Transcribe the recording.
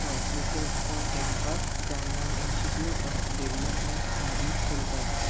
তল্টলেকের একটা ক্যাম্পাস যার নাম institute of development studies Kolkata.